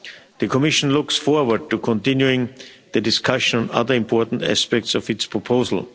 The Commission looks forward to continuing discussions on other important aspects of its proposal.